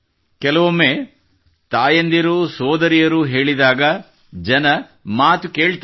ಕೆಲವೊಮ್ಮೆ ತಾಯಂದಿರು ಸೋದರಿಯರು ಹೇಳಿದಾಗ ಜನರು ಮಾತು ಕೇಳುತ್ತಾರೆ